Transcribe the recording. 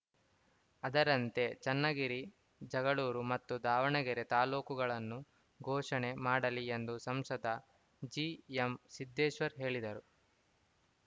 ಅದರಂತೆ ಚನ್ನಗಿರಿ ಜಗಳೂರು ಮತ್ತು ದಾವಣಗೆರೆ ತಾಲೂಕುಗಳನ್ನು ಘೋಷಣೆ ಮಾಡಲಿ ಎಂದು ಸಂಸದ ಜಿಎಂಸಿದ್ದೇಶ್ವರ್‌ ಹೇಳಿದರು